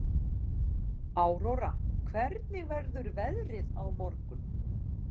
Áróra, hvernig verður veðrið á morgun?